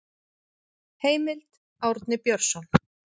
Heimild: Árni Björnsson.